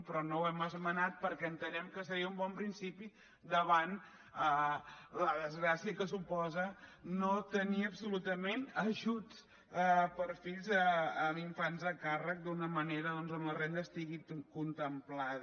però no ho hem esmenat perquè entenem que seria un bon principi davant la desgràcia que suposa no tenir absolutament ajut per fills amb infants a càrrec d’una manera doncs on la renda estigui contemplada